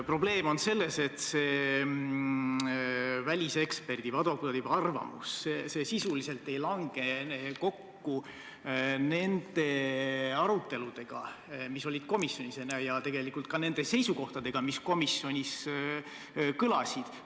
Probleem on selles, et väliseksperdi või advokaadi arvamus sisuliselt ei lange kokku nende aruteludega, mis komisjonis peeti, ega nende seisukohtadega, mis komisjonis kõlasid.